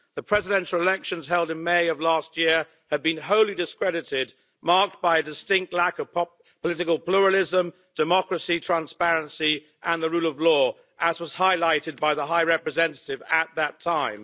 The presidential elections held in May of last year have been wholly discredited, marked by a distinct lack of political pluralism, democracy, transparency and the rule of law, as was highlighted by the High Representative at that time.